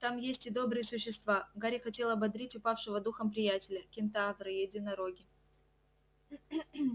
там есть и добрые существа гарри хотел ободрить упавшего духом приятеля кентавры единороги